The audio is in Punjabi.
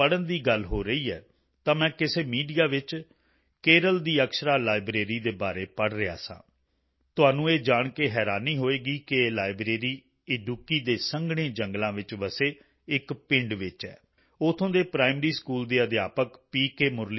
ਹੁਣ ਜਦੋਂ ਪੜ੍ਹਨ ਦੀ ਗੱਲ ਹੋ ਰਹੀ ਹੈ ਤਾਂ ਕਿਸੇ ਮੀਡੀਆ ਵਿੱਚ ਮੈਂ ਕੇਰਲ ਦੀ ਅਕਸ਼ਰਾ ਲਾਇਬ੍ਰੇਰੀ ਦੇ ਬਾਰੇ ਪੜ੍ਹ ਰਿਹਾ ਸਾਂ ਤੁਹਾਨੂੰ ਇਹ ਜਾਣ ਕੇ ਹੈਰਾਨੀ ਹੋਵੇਗੀ ਕਿ ਇਹ ਲਾਇਬ੍ਰੇਰੀ ਇਡੁੱਕੀ ਇਦੁੱਕੀ ਦੇ ਸੰਘਣੇ ਜੰਗਲਾਂ ਵਿੱਚ ਵਸੇ ਇੱਕ ਪਿੰਡ ਵਿੱਚ ਹੈ ਉੱਥੋਂ ਦੇ ਪ੍ਰਾਇਮਰੀ ਸਕੂਲ ਦੇ ਅਧਿਆਪਕ ਪੀ